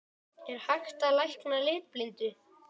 Er hægt að lækna litblindu?